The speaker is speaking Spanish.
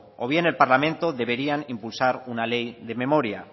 o bien el parlamento deberían impulsar una ley de memoria